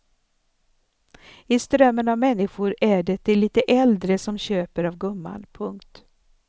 I strömmen av människor är det de lite äldre som köper av gumman. punkt